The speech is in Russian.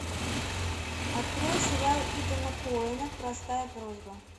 открой сериал итана коэна простая просьба